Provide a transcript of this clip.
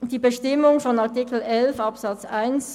Die Bestimmung von Artikel 11 Absatz 1